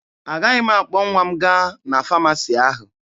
Agaghị m akpọ nwa m gaa na famasi ahụ.